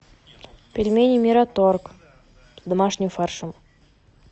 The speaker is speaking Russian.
пельмени мираторг с домашним фаршем